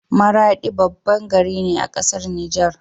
Maradi babban gari ne a ƙasar Niger